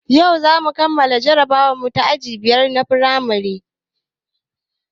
Yau zamu kammala jarabawarmu ta aji biyar na firamare